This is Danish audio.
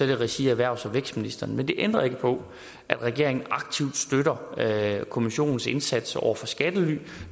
i regi af erhvervs og vækstministeren men det ændrer ikke på at regeringen aktivt støtter kommissionens indsats over for skattely